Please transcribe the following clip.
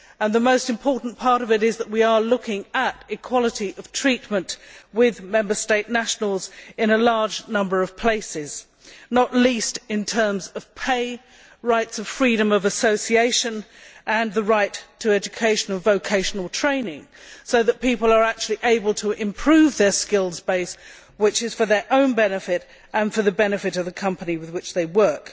The most important part of it is that we are looking at equality of treatment with Member State nationals in a large number of places, not least in terms of pay, rights of freedom of association and the right to educational vocational training so that people are actually able to improve their skills base, which is for their own benefit and for the benefit of the company with which they work.